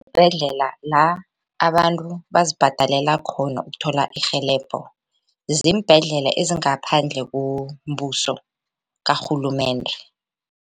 la abantu bazibhadalela khona ukuthola irhelebho ziimbhedlela ezingaphandle kombuso karhulumende.